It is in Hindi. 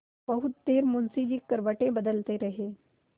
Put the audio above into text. बहुत देर मुंशी जी करवटें बदलते रहे